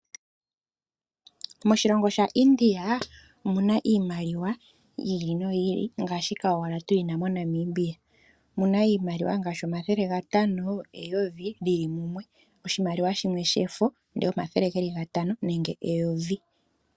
Moshilongo shaIndia omu na iimaliwa yi ili noyi ili ngaashika owala tuyi na moNamibia. Muna iimaliwa ngaashi omathele gatano, eyovi Lili mumwe. Oshimaliwa shimwe shefo ndele omathele geli gatano nenge eyovi.